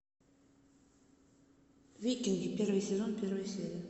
викинги первый сезон первая серия